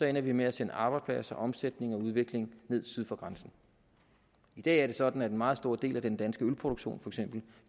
ender vi med at sende arbejdspladser omsætning og udvikling ned syd for grænsen i dag er det sådan at en meget stor del af den danske ølproduktion